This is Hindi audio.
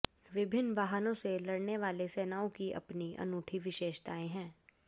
विभिन्न वाहनों से लड़ने वाले सेनाओं की अपनी अनूठी विशेषताएं है